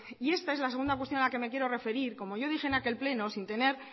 y esta es la segunda cuestión a la que me quiero referir como yo dije en aquel pleno sin tener